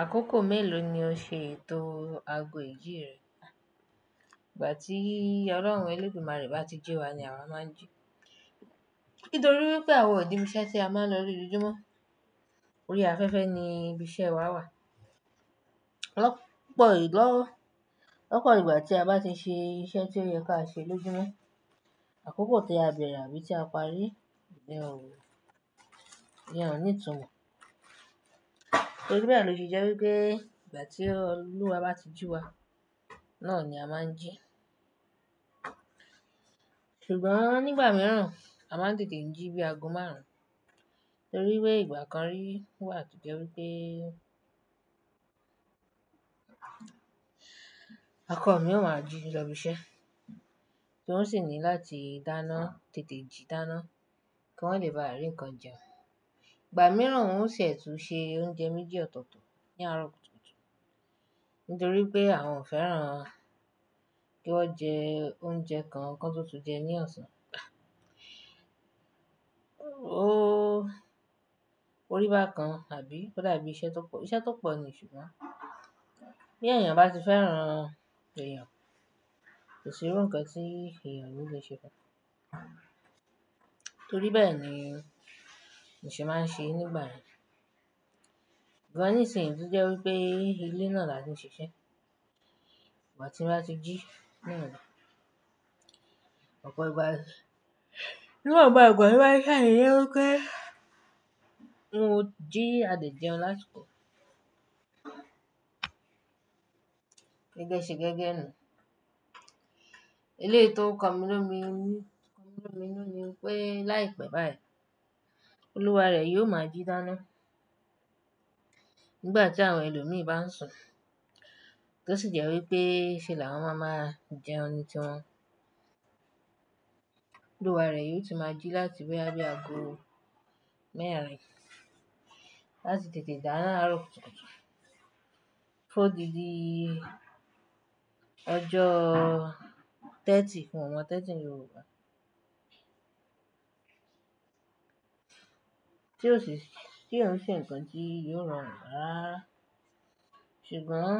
Àkókò mélòó ni o ṣe ètò aago ìjí rẹ? Ìgbà tí Ọlọ́run elédùmarè bá ti jí wa ni àwa máa ń jí. Nítorí pé àwọn ò níbi iṣẹ́ tí a máa ń lọ ní lójúmọ́. Orí afẹ́fẹ́ ni ibi iṣẹ́ wa wà. Lọ́ Lọ́pọ̀ ìgbà tí a bá ti ṣe iṣẹ́ tí ó yẹ káa ṣe lójúmọ́, àkókò tí a bẹ̀rẹ̀ àbí tí a parí ìyẹn ò ìyẹn ò ní'tumọ̀. Torí bẹ́ẹ̀ ni ó se jẹ́ wípé ìgbà tí Ọlúwa bá ti jí wa, náà ni a máa ń jí. Ṣùgbọ́n nígbà mìíràn a máa ń tètè jí bí ago márùn-ún. Torí wípé ìgbà kan rí wà tó jẹ́ wípé ọkọ mi o máa jí lọ bí iṣẹ́, tí n ó sì ní láti dáná, tètè jí dáná kí wọ́n lè baà rí nǹkan jẹun. Ìgbà mìíràn n ó ṣẹ̀ tún ṣe oúnjẹ méjì ọ̀tọ̀ọ̀tọ̀ ní àárọ̀ kùtùkùtù. Nítorí pé àwọn ò fẹ́ràn kí wọ́n jẹ oúnjẹ kan kán tún túun jẹ ní ọ̀sán. Òrí bákan àbí ó dàbí iṣẹ́ tó pọ̀, iṣẹ́ tó pọ̀ ni ṣùgbọ́n. Bí èèyàn bá ti fẹ́ràn èèyàn, kò sí irú nǹkan tí èèyàn kò lè ṣe fú un. Torí bẹ́ẹ̀ ni mo ṣe máa ń ṣe nígbà yẹn Ṣùgbọ́n ní ìsinyìí tó jẹ́ wípé ilé náà là ti ń ṣiṣẹ́. Ìgbà tí n bá ti jí náà ni. Ọ̀pọ̀ ìgbà, níwọ̀nba ìgbà tò bá ti ṣà tì jè wípé mo jí a de jẹun lásìkò. Gẹ́gẹ́ ṣe gẹ́gẹ́ nu. Eléyìí tó n ko mi lómìí nu ni pé láìpẹ́ báyìí, Olúwa rẹ̀ yóò máa jí dáná. Nígbà tí àwọn ẹlòmíràn bá ń sùn, tó sì jẹ́ wípé ṣe làwọn máa máa jẹun ní tíwọ̀n. Olúwa rẹ̀ yóò tún máa jí láti wí bóyá bi ago mẹ́ẹ̀rin lati tètè dáná àárọ̀ kùtùkùtù. Fún ódidí ọjọ́ thirty ún o mọn thirty ní Yorùbá. Tí ò ń ṣe nǹkan tí yóò rorun rára. Ṣùgbọ́n